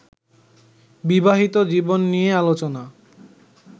বিবাহিত জীবন নিয়ে আলোচনা